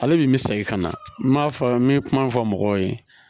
Ale de bɛ segin ka na n m'a fɔ n bɛ kuma fɔ mɔgɔw ye